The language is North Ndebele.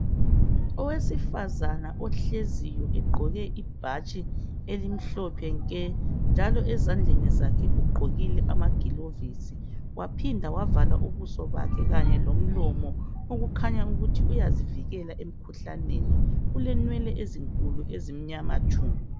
owesifazana ohleziyo egqoke ibhatshi elimhlophe nke ezandleni zakhe ugqokile amagilovisi wahinda wavala ubuso bakhe kanye lomlomo okukhanya ukuthi uyazivikela emkhuhlaneni ulenwele ezinkulu ezimnyama tshu